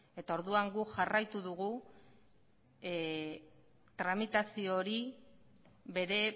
orduan guk jarraitu dugu tramitazio hori bere